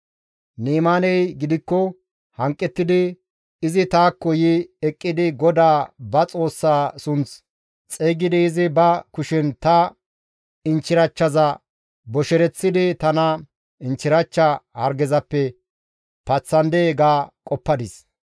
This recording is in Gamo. Ni7imaaney gidikko hanqettidi, «Izi taakko yi eqqidi GODAA ba Xoossaa sunth xeygidi izi ba kushen ta inchchirachchaza boshereththidi tana inchchirachcha hargezappe paththandee ga qoppadis.